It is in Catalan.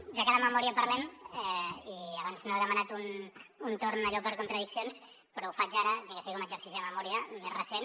ja que de memòria parlem i abans no he demanat un torn allò per contradiccions però ho faig ara ni que sigui com a exercici de memòria més recent